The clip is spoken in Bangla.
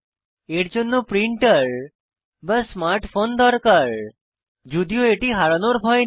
এর জন্য প্রিন্টার বা স্মার্ট ফোন দরকার যদিও এটি হারানোর ভয় নেই